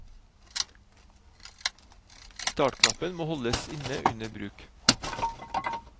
Startknappen må holdes inne under bruk.